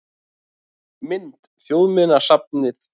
Mynd: Þjóðminjasafnið